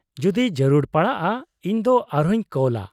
-ᱡᱩᱫᱤ ᱡᱟᱹᱨᱩᱲ ᱯᱟᱲᱟᱜᱼᱟ ᱤᱧ ᱫᱚ ᱟᱨᱦᱚᱸᱧ ᱠᱚᱞᱼᱟ ᱾